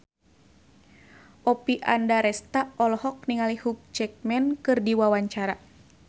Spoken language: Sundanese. Oppie Andaresta olohok ningali Hugh Jackman keur diwawancara